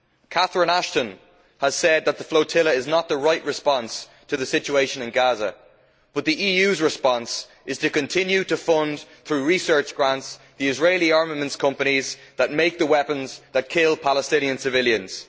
Catherine Ashton has said that the flotilla is not the right response to the situation in Gaza, but the EU's response is to continue to fund, through research grants, the Israeli armaments companies that make the weapons that kill Palestinian civilians.